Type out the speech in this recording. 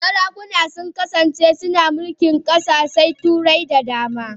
Sarakuna sun kasance suna mulkin kasashen Turai da dama.